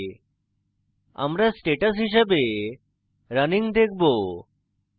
আমরা status হিসাবে running দেখবো